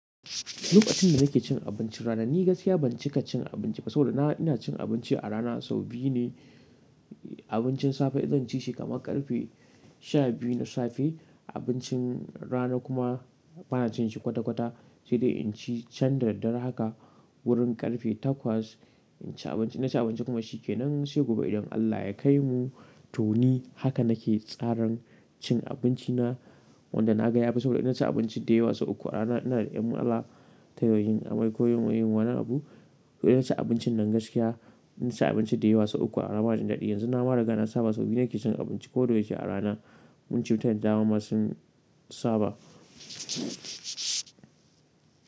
Lokacin da nake cin abincin rana, ni gaskiya ban cika cin abinci ba, saboda na ina cin abinci a rana sau biyu ne. Abincin safe izan ci shi kamar ƙarfe shabiyu na safe, abincin rana kuma bana cin shi kwata-kwata sai dai in ci can da daddare haka wurin ƙarfe takwas, in ci abinci in na ci abinci kuma shi ke nan, sai gobe idan Allah ya kai mu to ni haka nake tsaran cin abinci na, wanda na ga yafi sau da ina ci abinci da yawa sau uku a rana, ina da ƴan matsala, ta yo, yin amai, ko yin wani abu, to ina ci abincin nan gaskiya ina ci abinci da yawa sau uku a rana ba jin daɗi. Yanzu nama riga na saba sau biyu nake cin abinci ko da ya ce a rana. Cutan da dawa ma sun saba.